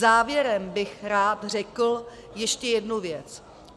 Závěrem bych rád řekl ještě jednu věc.